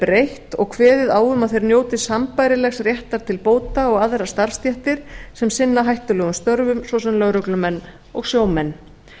breytt og kveðið á um að þeir njóti sambærilegs réttar til bóta og aðrar starfsstéttir sem sinna hættulegum störfum svo sem lögreglumenn og sjómenn